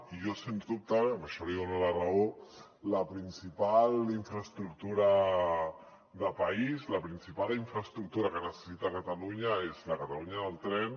i jo sens dubte en això li dono la raó la principal infraestructura de país la principal infraestructura que necessita catalunya és la catalunya del tren